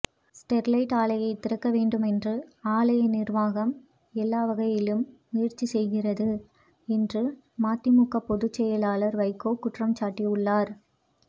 Sterlite ஆலையை திறக்க வேண்டுமென்று ஆலை நிர்வாகம் எல்லா வகையிலும் முயற்சி செய்கிறது என்று மதிமுக பொதுச்செயலாளர் வைகோ குற்றம்சாட்டியுள்ளார்